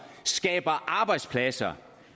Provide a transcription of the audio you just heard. skaber arbejdspladser